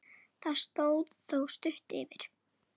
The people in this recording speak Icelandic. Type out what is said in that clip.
Það stóð þó stutt yfir.